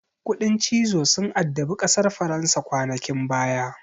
Kuɗin cizo sun addabi ƙasar faransa kwanakin baya.